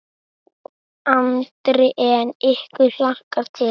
Andri: En ykkur hlakkar til?